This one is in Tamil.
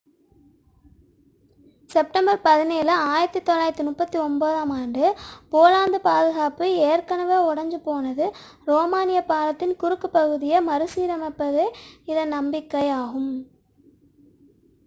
செப்டம்பர் 17 1939 ஆண்டு போலந்து பாதுகாப்பு ஏற்கனவே உடைந்துபோனது ரோமானிய பாலத்தின் குறுக்கு பகுதியை மறுசீரமைப்பதே இதன் நம்பிக்கை ஆகும்